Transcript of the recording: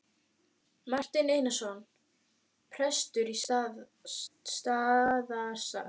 Marteinn Einarsson prestur á Staðarstað á.